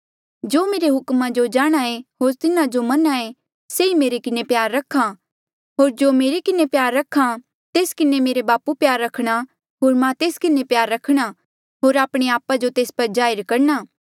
जेस मेरे हुक्मा जो जाणहां एें होर से तिन्हा जो मन्हां एें से ई मेरे किन्हें प्यार रख्हा होर जो मेरे किन्हें प्यार रख्हा तेस किन्हें मेरे बापू प्यार रखणा होर मां तेस किन्हें प्यार रखणा होर आपणे आपा जो तेस पर जाहिर करणा